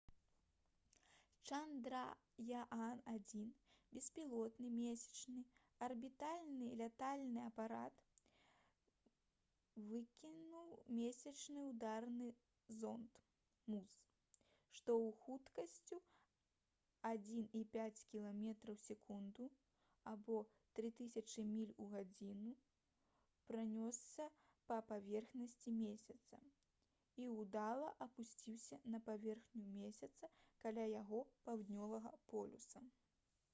«чандраяан-1» беспілотны месячны арбітальны лятальны апарат выкінуў месячны ўдарны зонд муз што з хуткасцю 1,5 кіламетра ў секунду 3000 міль у гадзіну пранёсся па паверхні месяца і ўдала апусціўся на паверхню месяца каля яго паўднёвага полюса